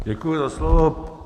Děkuji za slovo.